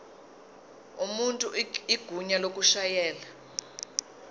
umuntu igunya lokushayela